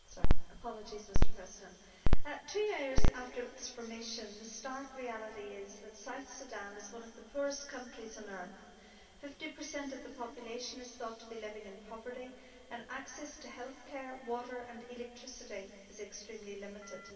Mr President, two years after its formation the stark reality is that South Sudan is one of the poorest countries on earth 50 of the population is thought to be living in poverty and access to healthcare, water and electricity is extremely limited.